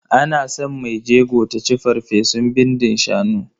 Ana san mai jego ta ci farfesun bindin shanu.